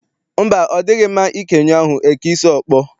Mba, ọ dịghị mma ike nyụọ ahụ, e kee isi ọkpọ.